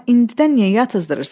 Amma indidən niyə yatızdırırsan?